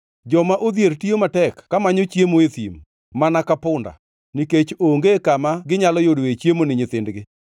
Joma odhier tiyo matek kamanyo chiemo e thim, mana ka punda; nikech onge kama ginyalo yudoe chiemo ni nyithindgi.